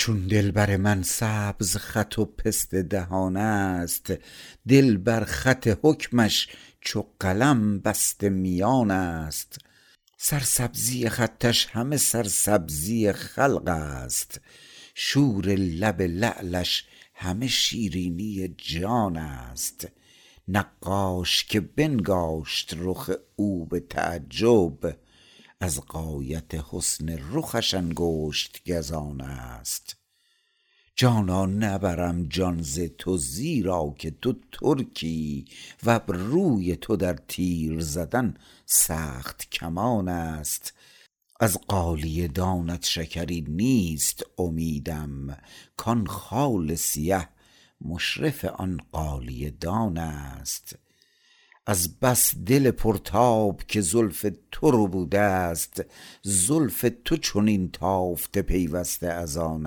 چون دلبر من سبز خط و پسته دهان است دل بر خط حکمش چو قلم بسته میان است سرسبزی خطش همه سرسبزی خلق است شور لب لعلش همه شیرینی جان است نقاش که بنگاشت رخ او به تعجب از غایت حسن رخش انگشت گزان است جانا نبرم جان ز تو زیرا که تو ترکی وابروی تو در تیر زدن سخت کمان است از غالیه دانت شکری نیست امیدم کان خال سیه مشرف آن غالیه دان است از بس دل پرتاب که زلف تو ربوده است زلف تو چنین تافته پیوسته از آن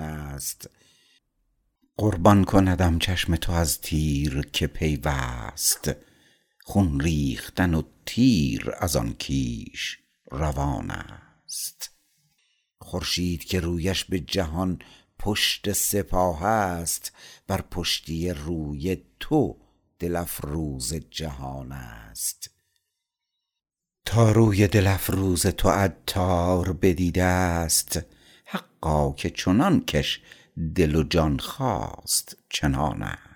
است قربان کندم چشم تو از تیر که پیوست خون ریختن و تیر از آن کیش روان است خورشید که رویش به جهان پشت سپاه است بر پشتی روی تو دل افروز جهان است تا روی دل افروز تو عطار بدیده است حقا که چنان کش دل و جان خواست چنان است